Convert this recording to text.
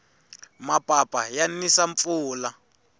mapapa ya nisa mpfula